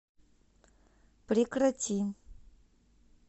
прекрати